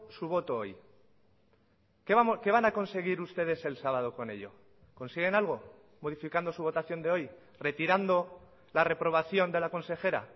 su voto hoy qué van a conseguir ustedes el sábado con ello consiguen algo modificando su votación de hoy retirando la reprobación de la consejera